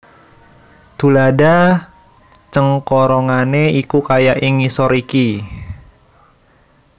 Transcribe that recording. Tuladha cengkorongane iku kaya ing ngisor iki